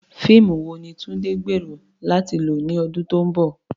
Fíìmù wo ni Tunde gbèrò láti lọ ní ọdún tó ń bọ̀?